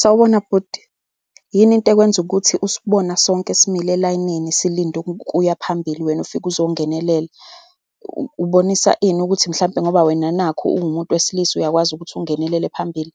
Sawubona bhuti, yini into ekwenza ukuthi usibona sonke simile elayinini, silinde ukuya phambili, wena ufike uzongenelela? Ubonisa ini, ukuthi mhlampe ngoba wena nakhu uwuumuntu wesilisa, uyakwazi ukuthi ungenelele phambili?